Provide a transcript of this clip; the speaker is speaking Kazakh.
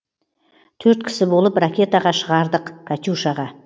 төрт кісі болып ракетаға шығардық катюшаға